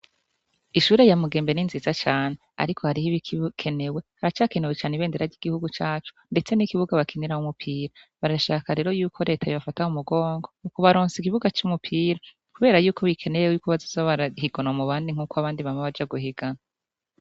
Ishure yamugembe ni nziza cane, ariko hariho ibikikenewe haracakenewecane ibendera ry'igihugu caco, ndetse n'ikibuga bakinira h' umupira barashaka rero yuko retaye bafataho umugongo mu ku baronsa ikibuga c'umupira, kubera yuko bikeneyewyuko bazizo barahiganwa mu bandi nk'uko abandi bama baja guhigana.